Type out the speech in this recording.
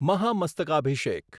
Mahamastakabhisheka